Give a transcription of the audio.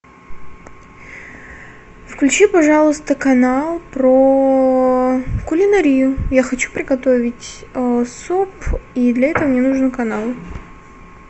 включи пожалуйста канал про кулинарию я хочу приготовить суп и для этого мне нужен канал